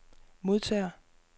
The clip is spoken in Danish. modtager